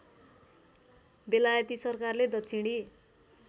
बेलायती सरकारले दक्षिणी